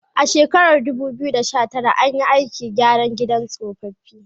A shekarar 2019, an yi aikin gyara gidan tsofaffi.